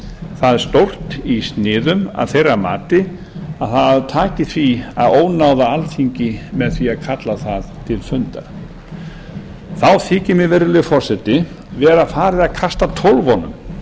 það stórt í sniðum að þeirra mati að það taki því að ónáða alþingi með því að kalla það til fundar þá þykir mér virðulegi forseti vera farið að kasta tólfunum